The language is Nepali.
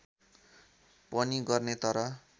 पनि गर्ने तर